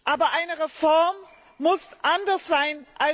Aber eine Reform muss anders sein.